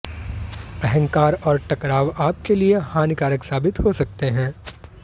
अहंकार और टकराव आपके लिए हानिकारक साबित हो सकते हैं